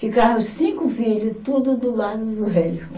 Ficava os cinco filho, tudo do lado do velho.